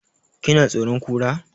Ki na tsoron Kura?